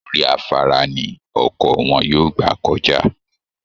Orí afárá ni ọkọ̀ wọn yóò gbà kọjá